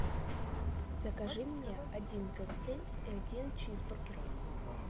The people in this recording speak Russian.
закажи мне один коктейль и один чизбургер